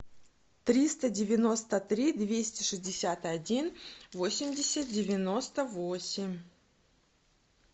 триста девяносто три двести шестьдесят один восемьдесят девяносто восемь